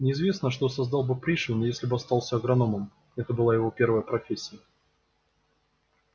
неизвестно что создал бы пришвин если бы остался агрономом это была его первая профессия